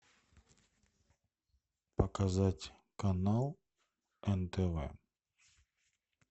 показать канал нтв